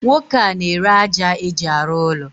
Nwoke a n'ere aja eji arụ ụlọ.